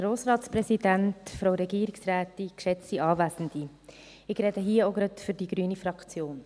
Ich spreche hier auch gleich für die grüne Fraktion.